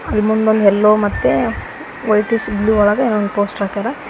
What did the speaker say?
ಇಲ್ಲಿ ಮುಂದ್ ಒಂದ್ ಯಲ್ಲೋ ಮತ್ತೆ ವೈಟಿಶ್ ಬ್ಲೂ ಒಳಗ್ ಅಲ್ ಒನ್ ಪೋಸ್ಟರ್ ಹಾಕ್ಯಾರ.